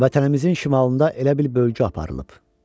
Vətənimizin şimalında elə bir bölgü aparılıb.